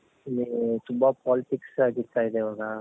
ಮ್ ತುಂಬಾ politics ಆಗ್ತಾ ಇದೆ ಇವಾಗ